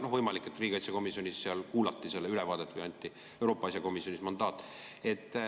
No võimalik, et riigikaitsekomisjonis kuulati ülevaadet või anti Euroopa asjade komisjonis mandaat.